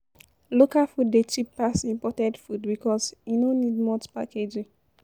Local food dey cheap pass imported food because e no need much packaging